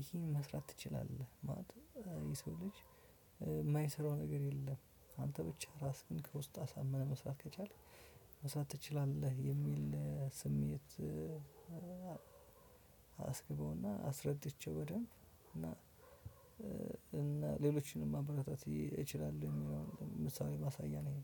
ይሄን መስራት ትችላለህ ማለት የሰው ልጅ የማይሰራው ነገር የለም። አንተ ብቻ ራስህን ከውስጥ አሳምነህ መስራት ከቻልክ መስራት ትችላለህ የሚል ስሜት። አስግበው እና አስረድቼው በደንብ እና እና ሌሎችንም ማበረታት ይችላለው። ምሳሌ ማሳያ ነው